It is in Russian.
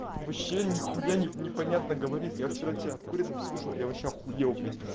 вообще нихуя непонятно говорит я вчера тебе обкуренным слышал я вообще ахуел блять